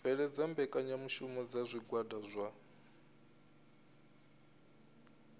bveledza mbekanyamushumo dza zwigwada zwa